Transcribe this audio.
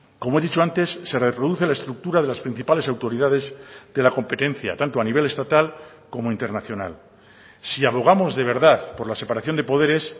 como he dicho antes se reproduce la estructura de las principales autoridades de la competencia tanto a nivel estatal como internacional si abogamos de verdad por la separación de poderes